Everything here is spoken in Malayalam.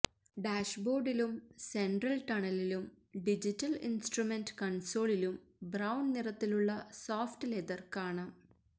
ഡാഷ്ബോർഡിലും സെൻട്രൽ ടണലിലും ഡിജിറ്റൽ ഇൻസ്ട്രുമെന്റ് കൺസോളിലും ബ്രൌൺ നിറത്തിലുള്ള സോഫ്റ്റ് ലെതർ കാണാം